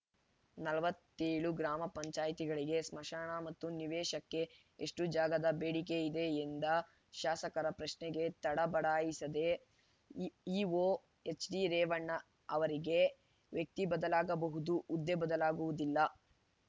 ನಲವತ್ತ್ ಏಳು ಗ್ರಾಮ ಪಂಚಾಯತಿಗಳಿಗೆ ಸ್ಮಶಾನ ಮತ್ತು ನಿವೇಶಕ್ಕೆ ಎಷ್ಟುಜಾಗದ ಬೇಡಿಕೆಯಿದೆ ಎಂದ ಶಾಸಕರ ಪ್ರಶ್ನೆಗೆ ತಡ ಬಡಾಯಿಸಿದ ಇಒ ಎಚ್‌ಡಿ ರೇವಣ್ಣ ಅವರಿಗೆ ವ್ಯಕ್ತಿ ಬದಲಾಗಬಹುದು ಹುದ್ದೆ ಬದಲಾಗುವುದಿಲ್ಲ